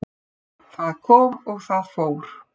Það kom og það fór.